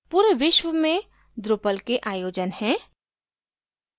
पूरे विश्व में drupal के आयोजन हैं